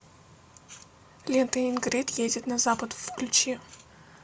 лента ингрид едет на запад включи